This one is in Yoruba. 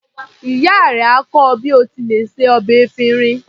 Ìyá rẹ á kọ́ ọ bí o ti lè se ọbẹ̀ efinrin.